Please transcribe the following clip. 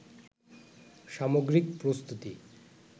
সামগ্রিক প্রস্তুতি